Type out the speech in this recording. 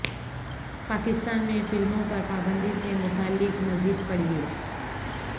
پاکستان میں فلموں پر پابندی سے متعلق مزید پڑھیے